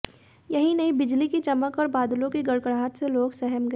यही नहीं बिजली की चमक व बादलांे की गड़गड़ाहट से लोग सहम गए